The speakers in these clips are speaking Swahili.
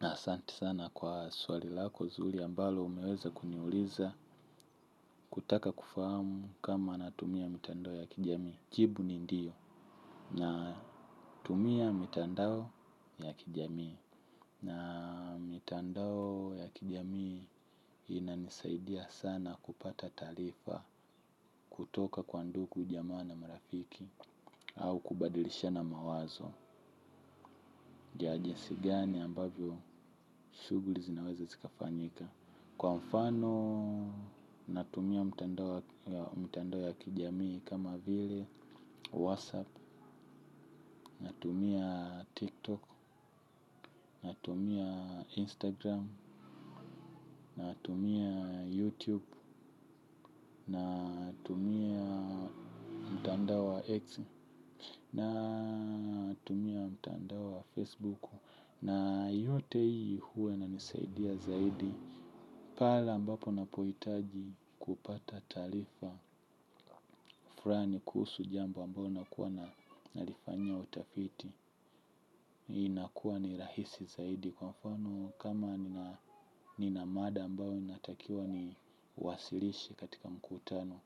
Na asanti sana kwa swali lako zuri ambalo umeweza kuniuliza kutaka kufahamu kama natumia mitandao ya kijamii. Jibu ni ndiyo natumia mitandao ya kijamii. Na mitandao ya kijamii inanisaidia sana kupata taarifa kutoka kwa ndugu jamaa na marafiki au kubadilishana mawazo. Ja jinsi gani ambavyo shughuli zinaweza zikafanyika. Kwa mfano, natumia mtandao wa mtandao ya kijamii kama vile, whatsapp, natumia tiktok, natumia instagram, natumia youtube, natumia mtandao wa x, natumia mtandao wa facebook na yote hii huwa inanisaidia zaidi pale ambapo napoitaji kupata taarifa frani kuhusu jambo ambao nakuwa na nalifanyia utafiti hii inakuwa ni rahisi zaidi kwa mfano kama nina nina mada ambayo ninatakiwa niwasilishe katika mkutano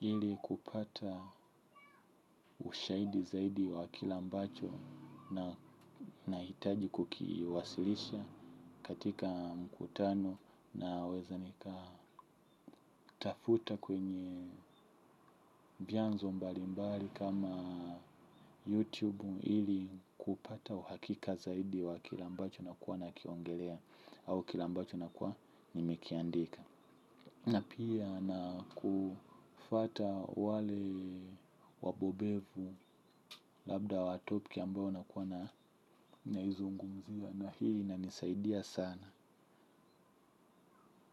ili kupata ushahidi zaidi wa kile ambacho na nahitaji kukiwasilisha katika mkutano naweza nika tafuta kwenye vyanzo mbalimbali kama YouTube ili kupata uhakika zaidi wa kile ambacho nakuwa nakiongelea au kile ambacho nakuwa nimekiandika. Na pia nakufuata wale wabobevu labda wa topiki ambayo nakuwa na naizungumzia na hii inanisaidia sana.